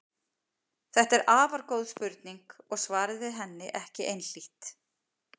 Þetta er afar góð spurning og svarið við henni er ekki einhlítt.